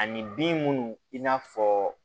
Ani bin minnu i n'a fɔ